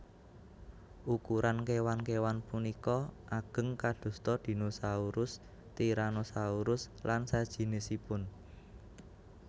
Ukuran kéwan kéwan punika ageng kadosta dinosaurus tyranosaurus lan sajinisipun